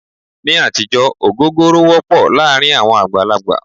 Ní àtijọ́ ògógóró wọ́pọ̀ láàárín àwọn àgbàlagbà.